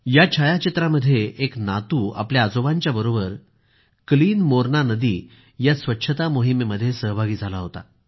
या छायाचित्रामध्ये एक नातू आपल्या आजोबांच्या बरोबर क्लिन मोरणा नदी या स्वच्छता मोहिमेमध्ये सहभागी झाला होता